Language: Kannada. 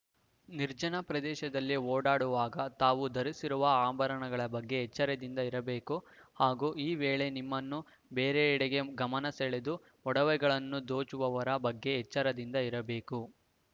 ನಿರ್ಜನ ಪ್ರದೇಶದಲ್ಲಿ ಓಡಾಡುವಾಗ ತಾವು ಧರಿಸಿರುವ ಅಂಭರಣಗಳ ಬಗ್ಗೆ ಎಚ್ಚರದಿಂದ ಇರಬೇಕು ಹಾಗೂ ಈ ವೇಳೆ ನಿಮ್ಮನ್ನು ಬೇರೆಡೆಗೆ ಗಮನ ಸೆಳೆದು ಒಡವೆಗಳನ್ನು ದೋಚುವವರ ಬಗ್ಗೆ ಎಚ್ಚರದಿಂದ ಇರಬೇಕು